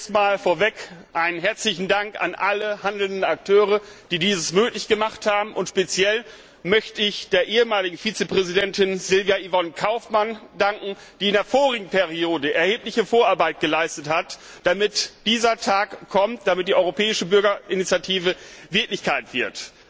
Erstmal vorweg einen herzlichen Dank an alle Akteure, die dieses möglich gemacht haben, und speziell möchte ich der ehemaligen Vizepräsidentin Sylvia Yvonne Kaufmann danken, die in der vorherigen Wahlperiode erhebliche Vorarbeit geleistet hat, damit dieser Tag kommt, damit die Europäische Bürgerinitiative Wirklichkeit wird.